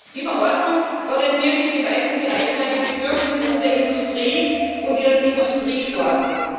Die Verordnung orientiert sich in weiten Bereichen an den Bedürfnissen der Industrie und ihren Industriesorten.